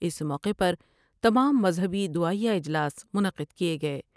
اس موقع پر تمام مذہبی دعائیہ اجلاس منعقد کئے گئے ۔